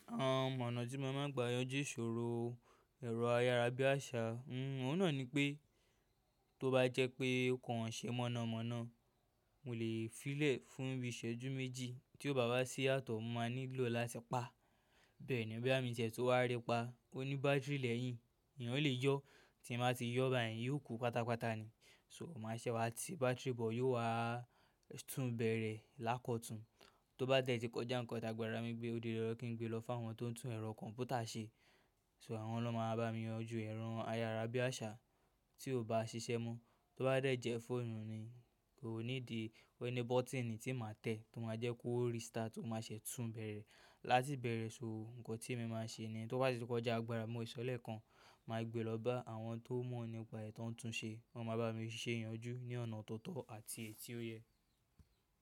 Àwọn ọ̀nà tí mo máa ń gbà yanjú ìṣòro ẹ̀rọ ayárabíàṣá, ohun náà ni pé tó bá jẹ́ pé nǹkan ṣe mọ̀nàmọ́ná, mo lè fí ìlẹ̀ fún bí iṣẹ́jú méjì tí ó bá wá sí àtọ̀, mo máa nílò láti pa. Bẹ́ẹ̀ ni ó bí àmì iṣẹ́ tó wá rẹpa, ó ní bátìrì lẹ́yìn, èèyàn ò lè yọ́, tí mo bá ti yọ́ báyìí yóò kú pátápátá ni. So mo máa ṣẹ́wá ti bátìrì bọ̀, yóò wá tún bẹ̀rẹ̀ lákọ̀tún. Tó bá dé tí kọjá ǹkan tàgbà, rami gbé, ó dé lọ́jọ́ kí n gbe lọ fún àwọn tó ń tún ẹ̀rọ kọ̀m̀pútà ṣe. So àwọn ló máa bá mi yanjú ẹ̀rọ ayárabíàṣá tí ò bá ṣiṣẹ́ mọ́. Tó bá dé jẹ́ fóònù ni, kò ní di ẹni bọ́tíìnì tí màá tẹ̀ tó máa jẹ́ kó restart tó má ṣẹ́ tún bẹ̀rẹ̀. Láti bẹ̀rẹ̀ sọ́ọ̀, ǹkan tí mo máa ṣe ni tó bá ti kọjá agbára, mo ìṣọ̀lẹ̀ kan, màá gbe lọ bá àwọn tó mọ̀ nípa ètò ń tun ṣe. Wọ́n máa bá mi ṣe ìyanjú ní ọ̀nà tó tọ́ àti èyí tí ó yẹ.